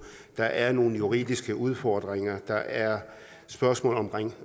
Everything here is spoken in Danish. der er nogle juridiske udfordringer der er spørgsmålet om